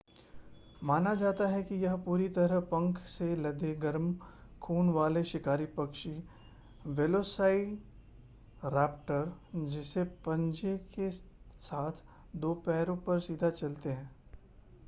माना जाता है कि यह पूरी तरह पंख से लदे गरम खून वाले शिकारी पक्षी वेलोसाइराप्टर जैसे पंजे के साथ दो पैरों पर सीधा चलते थे